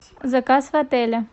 заказ в отеле